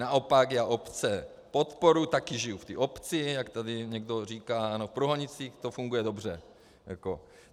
Naopak, já obce podporuji, také žiju v té obci, jak tady někdo říká, ano, v Průhonicích to funguje dobře.